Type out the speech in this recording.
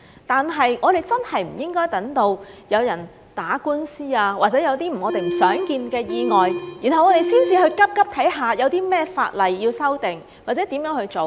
但是，我們真的不應該等到有人打官司，或者有些我們不想見的意外，才急忙看看有甚麼法例要修訂，或者如何做。